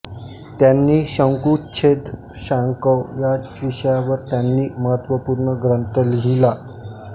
त्यांनी शंकुच्छेद शांकव या विषयावर त्यांनी महत्त्वपूर्ण ग्रंथ लिहिला